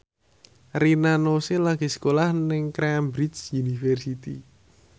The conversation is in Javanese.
Rina Nose lagi sekolah nang Cambridge University